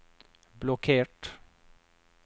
blokkert